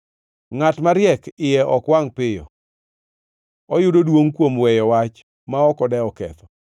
Ngʼat mariek iye ok wangʼ piyo; oyudo duongʼ kuom weyo wach ma ok odewo ketho.